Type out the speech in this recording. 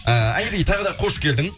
ііі айри тағы да қош келдің